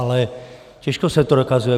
Ale těžko se to dokazuje.